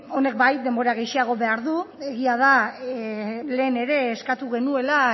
honek bai denbora gehixeago behar du egia da lehen ere eskatu genuela